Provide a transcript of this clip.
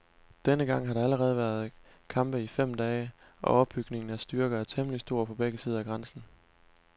Denne gang har der allerede været kampe i fem dage, og opbygningen af styrker er temmelig stor på begge sider af grænsen.